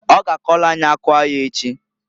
O ga akọlụ anyị akụ aya echi.